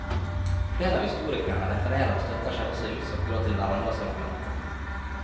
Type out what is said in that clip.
Flere av historikerne refererer og støtter seg også i utstrakt grad til hverandres argumenter.